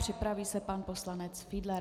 Připraví se pan poslanec Fiedler.